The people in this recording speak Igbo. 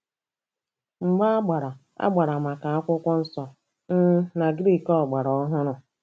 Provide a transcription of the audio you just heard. Mgba agbara agbara maka Akwụkwọ Nsọ um na Griiki ọgbara ọhụrụ.